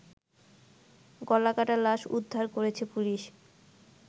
গলাকাটা লাশ উদ্ধার করেছে পুলিশ